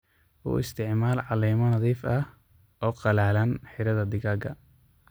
U isticmaal caleemo nadhiif ah oo qallalan xiradha digaaga.